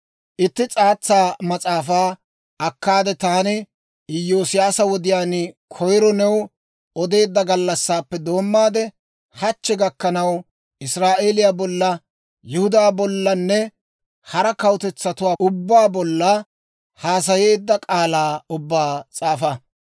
«Itti s'aatsa mas'aafaa akkaade, taani Iyoosiyaasa wodiyaan koyiro new odeedda gallassaappe doommaade, hachchi gakkanaw Israa'eeliyaa bolla, Yihudaa bollanne hara kawutetsatuwaa ubbaa bolla haasayeedda k'aalaa ubbaa s'aafa.